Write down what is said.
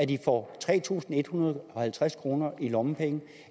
de får tre tusind en hundrede og halvtreds kroner i lommepenge